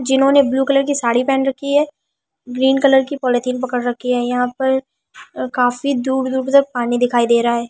जिन्होंने blue colour की साड़ी पहन रखी है ग्रीन कलर की पॉलिथीन पकड़ रखी है यहां पर काफी दूर-दूर तक पानी दिखाई दे रहा है।